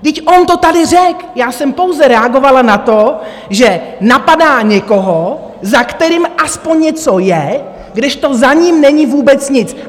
Vždyť on to tady řekl - já jsem pouze reagovala na to, že napadá někoho, za kterým aspoň něco je, kdežto za ním není vůbec nic.